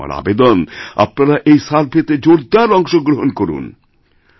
কাছেআমার আবেদন আপনারা এই সার্ভেতে জোরদার অংশগ্রহণ করুন